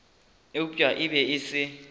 eupša e be e se